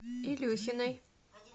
илюхиной